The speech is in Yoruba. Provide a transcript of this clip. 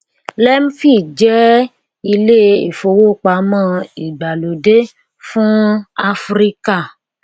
lemfi jẹ ilé ìfowópamọ ìgbàlódé fún áfíríkà